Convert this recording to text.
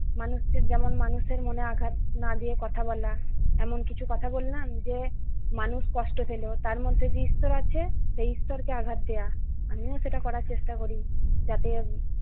মানুষকে যেমন মানুষের মনে আঘাত না দিয়ে কথা বলা এমন কিছু কথা বললাম যে মানুষ কষ্ট পেল তার মধ্যে যে ঈশ্বর আছে সেই ঈশ্বরকে আঘাত দেওয়া। আমিও সেটা করার চেষ্টা করি যাতে-